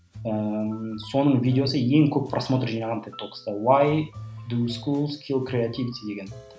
ііі соның видеосы ең көп просмотр жинаған тик токста